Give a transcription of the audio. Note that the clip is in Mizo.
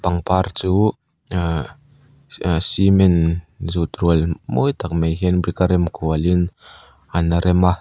pangpar chu ahh cement zut rual mawi tak mai hian brick a rem kualin an rem a.